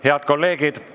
Head kolleegid!